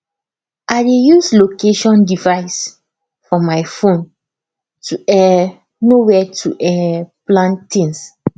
i dey use location device for my phone to um know where to um plant things